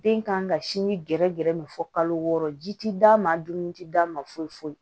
Den kan ka sinji gɛrɛ gɛrɛ min fɔ kalo wɔɔrɔ ji ti d'a ma dumuni ti d'a ma foyi foyi